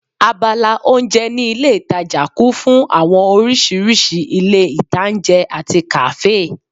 Abala oúnjẹ ní ilé ìtajà kún fún àwọn oríṣiríṣi ilé-ìtańjẹ àti kàáfè